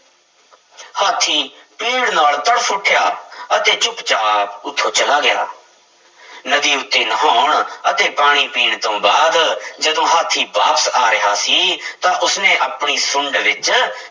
ਹਾਥੀ ਪੀੜ੍ਹ ਨਾਲ ਤੜਫ਼ ਉੱਠਿਆ ਅਤੇ ਚੁੱਪ ਚਾਪ ਉੱਥੋਂ ਚਲਾ ਗਿਆ ਨਦੀ ਉੱਤੇ ਨਹਾਉਣ ਅਤੇ ਪਾਣੀ ਪੀਣ ਤੋਂ ਬਾਅਦ ਜਦੋਂ ਹਾਥੀ ਵਾਪਸ ਆ ਰਿਹਾ ਸੀ ਤਾਂ ਉਸਨੇ ਆਪਣੀ ਸੁੰਡ ਵਿੱਚ